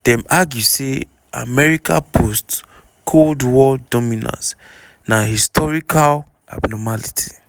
dem argue say america post-cold war dominance na historical abnormality.